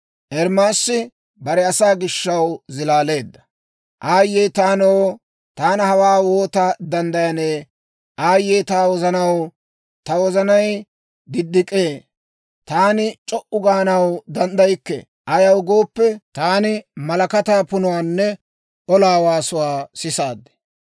Aayye taanoo! Taani hawaa woota danddayanee! Aayye ta wozanaw! Ta wozanay diddik'ee; taani c'o"u gaanaw danddaykke. Ayaw gooppe, taani malakataa punuwaanne olaa waasuwaa sisaad.